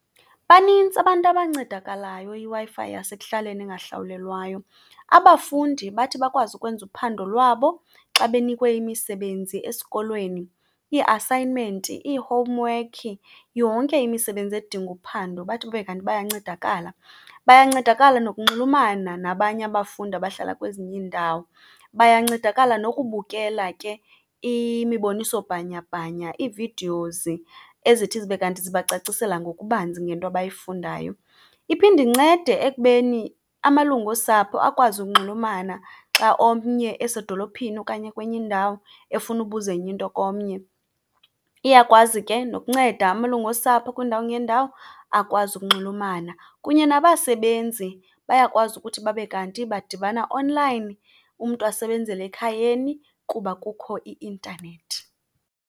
Banintsi abantu abancedakalayo yiWi-Fi yasekuhlaleni engahlawulelwayo. Abafundi bathi bakwazi ukwenza uphando lwabo xa benikwe imisebenzi esikolweni, ii-assignment, ii-homework, yonke imisebenzi edinga uphando bathi babe kanti bayancedakala. Bayancedakala nokunxulumana nabanye abafundi abahlala kwezinye iindawo. Bayancedakala nokubukela ke imiboniso bhanyabhanya, ii-videos ezithi zibe kanti sibacacisele ngokubanzi ngento abayifunayo. Iphinde incede ekubeni amalungu osapho akwazi ukunxulumana xa omnye esedolophini okanye ekwenye indawo efuna ubuzenyinto komnye. Iyakwazi ke nokunceda amalungu osapho kwiindawo ngeendawo akwazi ukunxulumana. Kunye nabasebenzi bayakwazi ukuthi babe kanti badibana onlayini, umntu asebenzele ekhayeni kuba kukho i-intanethi